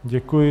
Děkuji.